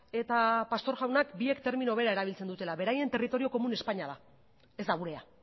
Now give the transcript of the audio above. eta pastor jaunak biek termino bera erabiltzen dutela beraien territorio komun espainia da ez da gurea